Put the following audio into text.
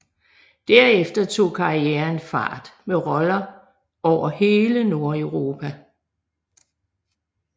Derefter tog karrieren fart med roller over hele Nordeuropa